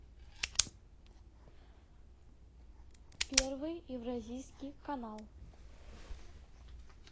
первый евразийский канал